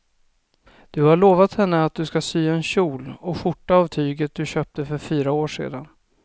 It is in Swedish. Du har lovat henne att du ska sy en kjol och skjorta av tyget du köpte för fyra år sedan.